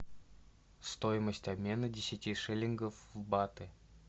стоимость обмена десяти шиллингов в баты